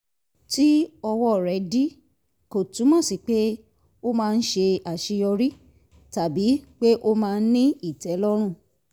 tí ọwọ́ rẹ̀ dí kò túmọ̀ sí pé ó máa ń ṣe àṣeyọrí tàbí pé ó máa ń ní ìtẹ́lọ́rùn